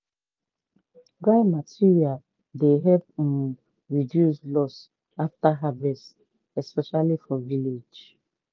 dry material dey help um reduce loss after harvest especially for village.